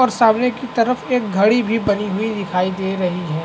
और सामने की तरफ एक झाड़ी भी बनी हुई दिखाई दे रही है।